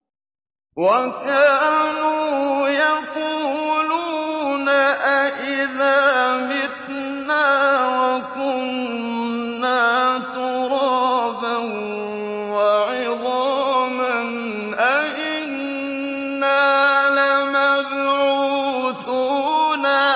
وَكَانُوا يَقُولُونَ أَئِذَا مِتْنَا وَكُنَّا تُرَابًا وَعِظَامًا أَإِنَّا لَمَبْعُوثُونَ